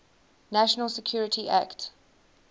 national security act